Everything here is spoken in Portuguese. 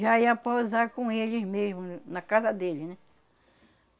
Já ía pousar com eles mesmo, na casa deles, né?